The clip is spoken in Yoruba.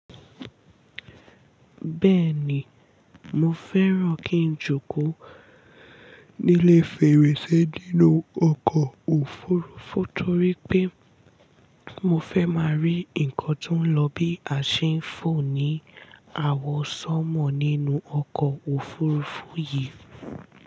Bẹ́ẹ̀ni, mo fẹ́ràn kí n jókòó ní ilé fèrèsé nínú ọkọ̀ òfurufú torí pé mo fẹ́ máa rí nǹkan tó ń lọ bí a ṣe ń fò ní àwọ̀sánmọ̀ nínú ọkọ̀ òfurufú yìí.